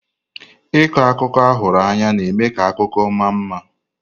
Ịkọ akụkọ ahụrụ anya na-eme ka akụkọ ma mma.